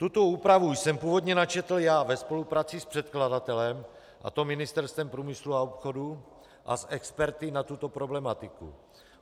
Tuto úpravu jsem původně načetl já ve spolupráci s předkladatelem, a to Ministerstvem průmyslu a obchodu, a s experty na tuto problematiku.